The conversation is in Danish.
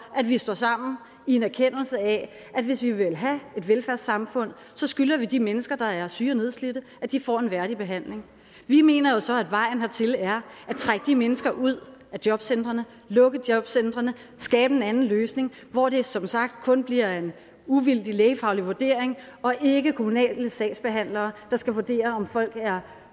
at vi står sammen i en erkendelse af at hvis vi vil have et velfærdssamfund så skylder vi de mennesker der er syge og nedslidte at de får en værdig behandling vi mener jo så at vejen hertil er at trække de mennesker ud af jobcentrene lukke jobcentrene skabe en anden løsning hvor det som sagt kun bliver en uvildig lægefaglig vurdering og ikke kommunale sagsbehandlere der skal vurdere om folk er